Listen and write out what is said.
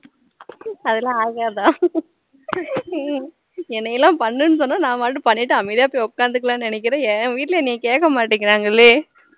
அதெல்லாம் ஆகாதா கே எனக்குழாம் பண்ணுனூ சொன்னா நா பாட்டுக்கு பண்ணிட்டு அமைதியா போய் உக்காந்துக்கலாம்னு நினைக்குறேன் என் வீட்டுல என்ன கேக்க மாட்டுக்கிறாங்களே